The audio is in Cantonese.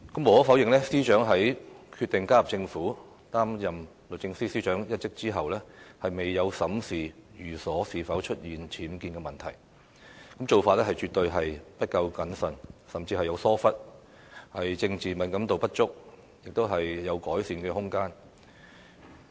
無可否認，司長在決定加入政府，擔任律政司司長一職後，未有審視寓所是否出現僭建問題，做法絕對是不夠審慎，甚至有疏忽，政治敏感度不足，她是有改善的空間。